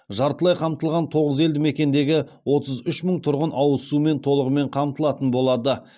жартылай қамтылған тоғыз елдімекендегі отыз үш мың тұрғын ауыз сумен толығымен қамтылатын болады